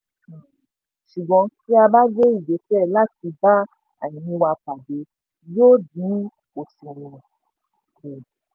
um ṣùgbọ́n tí a bá bé ìgbésẹ láti bá àìní wa pàdé yóò dín òṣùwọ̀n kù.